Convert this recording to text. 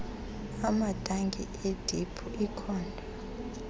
amatanki ediphu iikhonto